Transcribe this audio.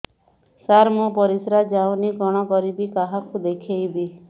ସାର ମୋର ପରିସ୍ରା ଯାଉନି କଣ କରିବି କାହାକୁ ଦେଖେଇବି